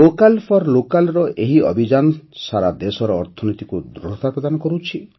vocal for local ର ଏହି ଅଭିଯାନ ସାରା ଦେଶର ଅର୍ଥନୀତିକୁ ଦୃଢ଼ତା ପ୍ରଦାନ କରୁଛି